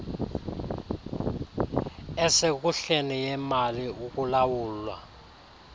esekuhleni yemali ukulawulwa